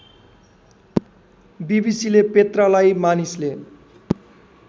बीबीसीले पेत्रालाई मानिसले